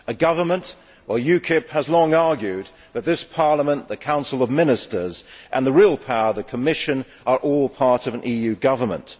a government well, UKIP has long argued that this Parliament, the Council of Ministers and the real power, the Commission, are all part of an EU government.